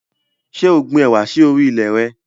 Ṣé o gbin ẹwà sì orí ilẹ̀ re?